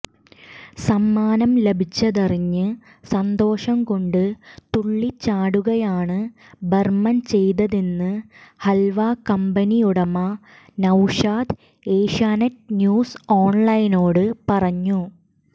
സമ്മാനം ലഭിച്ചതറിഞ്ഞ് സന്തോഷം കൊണ്ട് തുള്ളിച്ചാടുകയാണ് ബർമൻ ചെയ്തതെന്ന് ഹൽവ കമ്പനി ഉടമ നൌഷാദ് ഏഷ്യാനെറ്റ് ന്യൂസ് ഓൺലൈനിനോട് പറഞ്ഞു